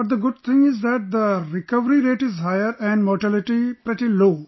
But the good thing is that the recovery rate is higher and mortality rate pretty low